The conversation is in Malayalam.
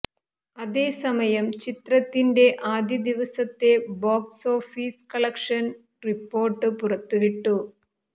അതേസമയം ചിത്രത്തിന്റെ ആദ്യ ദിവസത്തെ ബോക്സ് ഓഫീസ് കളക്ഷൻ റിപ്പോര്ട്ട് പുറത്തുവിട്ടു